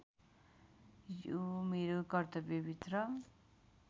यो मेरो कर्तव्यभित्र